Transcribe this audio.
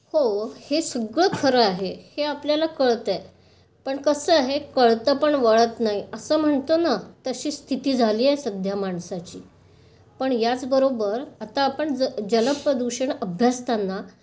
हो, हे सगळं खरं आहे. हे आपल्याला कळतंय. पण कसं आहे कळतं पण वळत नाही. असं म्हणतो ना तशी स्थिति झाली आहे सध्या माणसाची. पण याचबरोबर आता आपण जल प्रदूषण अभ्यासताना